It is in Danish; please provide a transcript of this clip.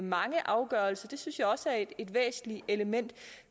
mange afgørelser det synes jeg også er et væsentligt element